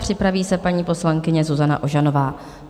Připraví se paní poslankyně Zuzana Ožanová.